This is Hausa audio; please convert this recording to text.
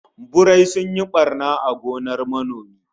Birai sun yi barna a gonar manomi